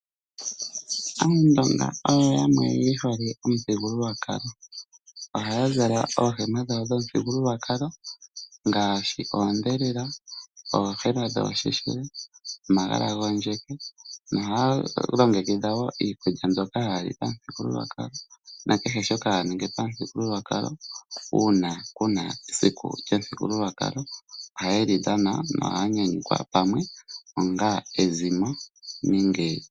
Aandonga oyo yamwe ye hole omuthigululwakalo. Ohaya zala oohema dhawo yomuthigululwakalo ngaashi oondhelela, oohema dhoosheshele, omagala gondjeke nohaya longekidha wo iikulya mbyoka haya li pamuthigululwakalo na kehe shoka haya ningi pamuthigululwakalo uuna ku na esiku lyomuthigululwakalo ohaye li dhana noha ya nyanyukwa pamwe onga ezimo.